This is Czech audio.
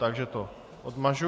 Takže to odmažu.